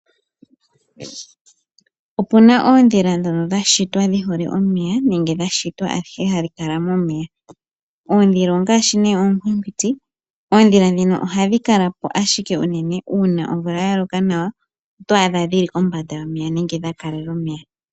Opuna oodhila dhoka dha shitwa dhihole omeya nenge dhashitwa ashike hadhi kala momeya. Oodhila ongaashi ne onkwinkwiti ,oodhila dhino ohadhi kala po uunene uuna omvula yaloka nawa to adha dhili kombanda homeya nenge dha kalela omeya.